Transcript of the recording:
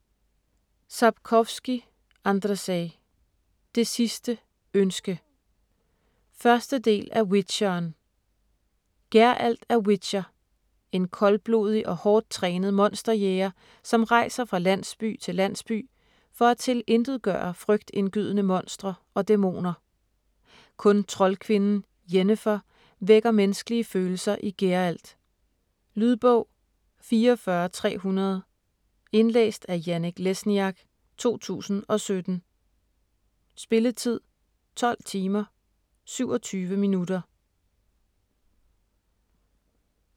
Sapkowski, Andrzej: Det sidste ønske 1. del af Witcheren. Geralt er witcher. En koldblodig og hårdt trænet monsterjæger, som rejser fra landsby til landsby, for at tilintetgøre frygtindgydende monstre og dæmoner. Kun troldkvinden Yennefer vækker menneskelige følelser i Geralt. Lydbog 44300 Indlæst af Janek Lesniak, 2017. Spilletid: 12 timer, 27 minutter.